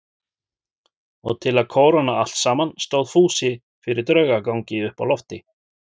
Og til að kóróna allt saman stóð Fúsi fyrir draugagangi uppi á lofti.